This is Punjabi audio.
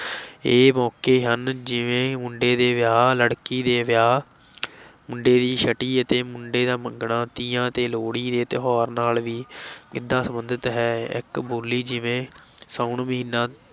ਇਹ ਮੋਕੇ ਹਨ ਜਿਵੇਂ ਮੁੰਡੇ ਦੇ ਵਿਆਹ, ਲੜਕੀ ਦੇ ਵਿਆਹ ਮੁੰਡੇ ਦੀ ਛਟੀ ਅਤੇ ਮੁੰਡੇ ਦਾ ਮੰਗਣਾ, ਤੀਆਂ ਤੇ ਲੋਹੜੀ ਦੇ ਤਿਉਹਾਰ ਨਾਲ ਵੀ ਗਿੱਧਾ ਸਬੰਧਤ ਹੈ, ਇੱਕ ਬੋਲੀ ਜਿਵੇਂ ਸਾਉਣ ਮਹੀਨਾ